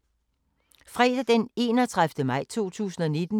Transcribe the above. Fredag d. 31. maj 2019